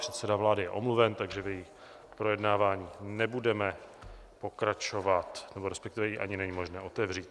Předseda vlády je omluven, takže v jejím projednávání nebudeme pokračovat, nebo respektive ji ani není možné otevřít.